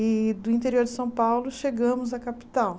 E do interior de São Paulo chegamos à capital.